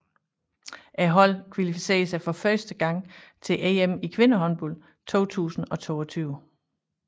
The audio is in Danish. Holdet kvalificerede sig for første gang til EM i kvindehåndbold 2022